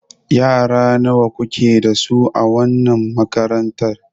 Yara nawa kuke da su a wannan makarantar?